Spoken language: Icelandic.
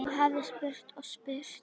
Þú hefðir spurt og spurt.